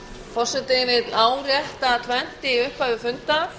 forseti vill árétta tvennt í upphafi fundar